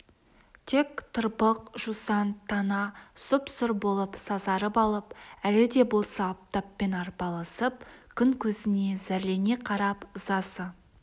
тек тырбық жусан тана сұп-сұр болып сазарып алып әлі де болса аптаппен арпалысып күн көзіне зәрлене қарап ызасы